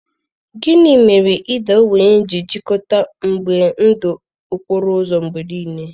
Gịnị mere ịda ogbenye ji jikọta mgbe ndụ okporo ụzọ mgbe nile?